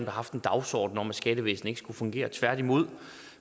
har haft en dagsorden om at skattevæsenet ikke skulle fungere tværtimod